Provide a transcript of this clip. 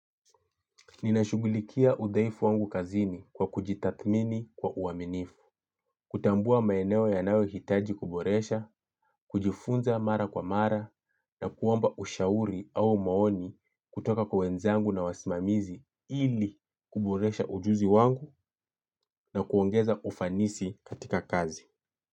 Ninashughulikia udhaifu wangu kazini kwa kujitathmini kwa uaminifu, kutambua maeneo yanayohitaji kuboresha, kujifunza mara kwa mara na kuomba ushauri au maoni kutoka kwa wenzangu na wasimamizi ili kuboresha ujuzi wangu na kuongeza ufanisi katika kazi.